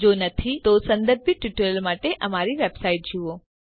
જો નથી તો સંબંધિત ટ્યુટોરીયલ માટે અમારી વેબસાઈટ જુઓ